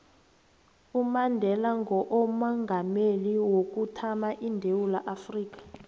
umandela ngoomongameli wokuthama edewula afrika